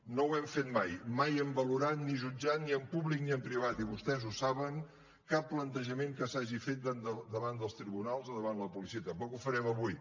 no ho hem fet mai mai hem valorat ni jutjat ni en públic ni en privat i vostès ho saben cap plantejament que s’hagi fet davant dels tribunals o davant la policia tampoc ho farem avui